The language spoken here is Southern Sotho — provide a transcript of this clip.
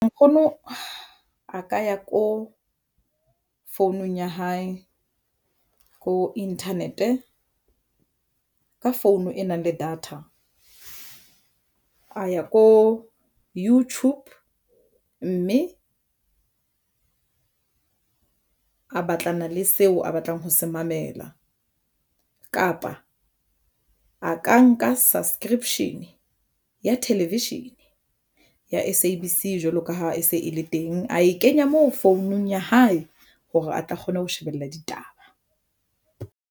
Nkgono a ka ya ko founung ya hae ko internet ka phone e nang le data. A ya ko YouTube mme a batlana le seo a batlang ho se mamela kapa a ka nka subscription ya television ya SABC jwalo ka ha e se e le teng, a e kenya mo founung ya hae hore a tla kgona ho shebella ditaba.